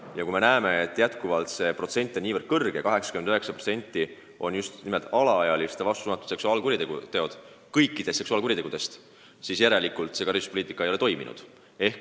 Ja kui me näeme, et see protsent on endiselt nii kõrge – 89% kõikidest seksuaalkuritegudest on just nimelt alaealiste vastu suunatud seksuaalkuriteod –, siis tuleb järeldada, et see karistuspoliitika ei ole toiminud.